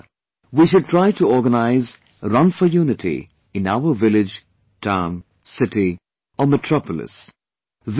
Even this year, we should try to organize 'Run for Unity' in our village, town, city or metropolis